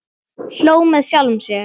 Hló með sjálfum sér.